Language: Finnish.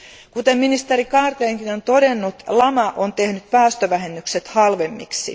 Kuten ministeri Carlgrenkin on todennut, lama on tehnyt päästövähennykset halvemmiksi.